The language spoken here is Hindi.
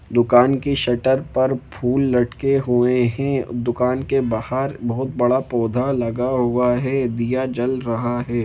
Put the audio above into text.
दुकान की शटर पर फूल लटके हुए है दुकान के बाहर बहुत बड़ा पौधा लगा हुआ है दिया जल रहा है।